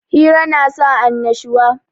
Hira na sa annashuwa